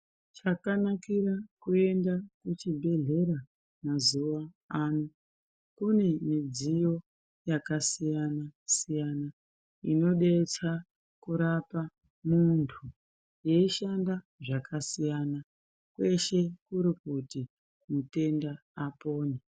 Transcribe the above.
Zvakanakira kuenda kuzvibhedhlera mazuva ano kune midziyo yakasiyana siyana inodetsera kurapa muntu yeushanda zvakasiyana kweshe kuri kuti mitenda apore.